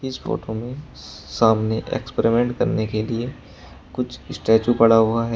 इस फोटो में सामने एक्सपेरिमेंट करने के लिए कुछ स्टैचू पड़ा हुआ है।